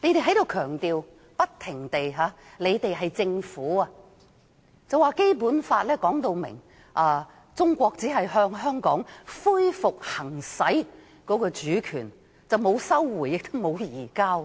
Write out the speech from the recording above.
政府官員不停強調，指《基本法》說明中國只是向香港恢復行使主權，沒有收回，也沒有移交。